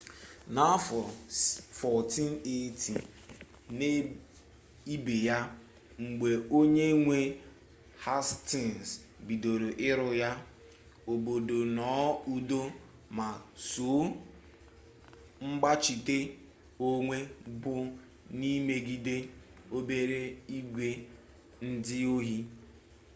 n'afọ 1480 n'ibe ya mgbe onye nwe hastins bidoro ịrụ ya obodo nọ n'udo ma sọ mgbachite onwe bụ n'imegide obere igwe ndị ohi